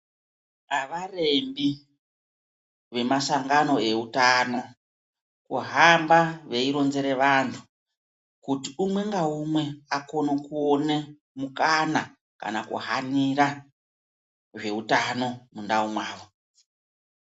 Avarembi vemasangano eutano kuhamba veironzere vantu kuti umwe naumwe akone kuone mukana kana kuhanira zveutano mundau mwavo.